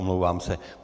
Omlouvám se.